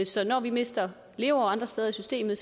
så når vi mister leveår andre steder i systemet